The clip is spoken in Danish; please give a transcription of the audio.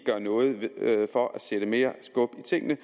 gør noget for at sætte mere skub i tingene